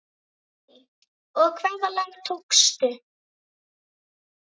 Guðný: Og hvaða lag tókstu?